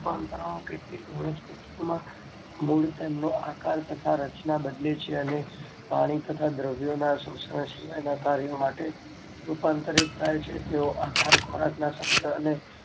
રૂપાંતરણો કેટલીક વનસ્પતિ માં મૂળ તેનો આકાર અને રચના બદલે છે અને પાણી તથા દ્રવ્યો ના શોષણ ના કર્યો માટે રૂપાંતરિત થાય છે તેઓ આહાર ખોરાક ના સંગ્રહ ને